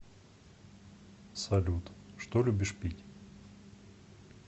салют что любишь пить